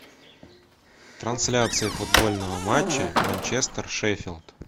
трансляция футбольного матча манчестер шеффилд